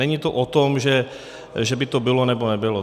Není to o tom, že by to bylo nebo nebylo.